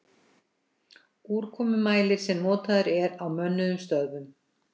Úrkomumælir sem notaður er á mönnuðum stöðvum.